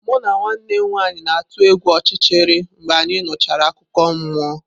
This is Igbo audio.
Mụ na nwanne m nwanyị na-atụ egwu ọchịchịrị mgbe anyị nụchara akụkọ mmụọ.